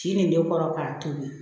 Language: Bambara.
Ci nin de kɔrɔ k'a tobi